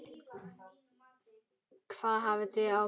Hvað hafið þið ákveðið?